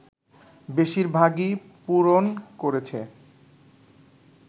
বেশির ভাগই পূরণ করেছে